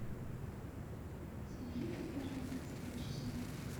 свяжите пожалуйста с прачечной